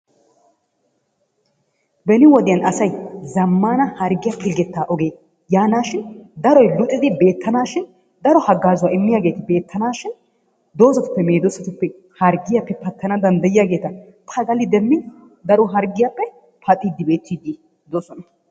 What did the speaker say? Beni wodiyan asay zammana harggiya polggeta oge yaanashin daro luxiddi beettanashin, daro hagazzuwa immiyaageeti beettanashin doozatuppe meedoosatuppe medooosatuppe harggiyappe pattana danddiyiyaageeta pagali demmi daro harggiyaappe paxxide beettoosona.